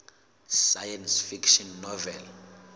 science fiction novel